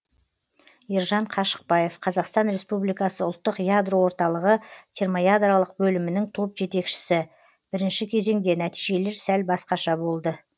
ержан қашықбаев қазақстан республикасы ұлттық ядро орталығы термоядролық бөлімінің топ жетекшісі бірінші кезеңде нәтижелер сәл басқаша болды